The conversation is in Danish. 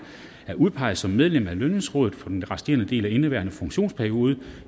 er udpeget som medlem af lønningsrådet for den resterende del af indeværende funktionsperiode